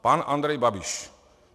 Pan Andrej Babiš.